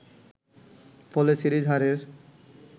ফলে সিরিজ হারের